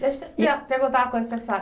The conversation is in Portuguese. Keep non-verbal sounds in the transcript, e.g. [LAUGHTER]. Deixa [UNINTELLIGIBLE] perguntar uma coisa para a senhora.